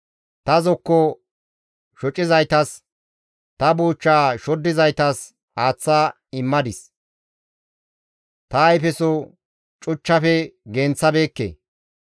Ta zokko shocizaytas, ta buuchcha shoddizaytas aaththa immadis; Ta ayfeso cuchchafe genththabeekke.